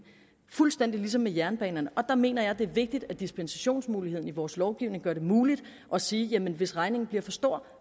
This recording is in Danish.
fuldstændig ligesom med jernbanerne der mener jeg at det er vigtigt at dispensationsmulighederne i vores lovgivning gør det muligt at sige at hvis regningen bliver for stor